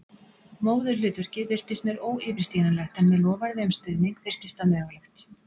Móðurhlutverkið virtist mér óyfirstíganlegt en með loforði um stuðning virtist það mögulegt.